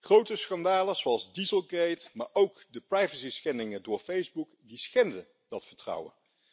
Grote schandalen zoals dieselgate, maar ook de privacyschendingen door Facebook, die schenden dat vertrouwen.